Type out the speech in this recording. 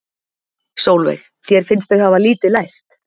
Sólveig: Þér finnst þau hafa lítið lært?